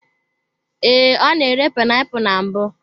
Ee, ọ na-ere painiapulu na mbụ.